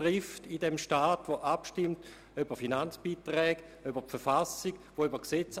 Es stimmt ab über Finanzbeiträge, die Verfassung und über Gesetze.